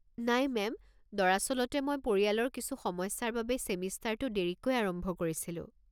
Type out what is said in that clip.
নাই মেম, দৰাচলতে মই পৰিয়ালৰ কিছু সমস্যাৰ বাবে ছেমিষ্টাৰটো দেৰিকৈ আৰম্ভ কৰিছিলোঁ।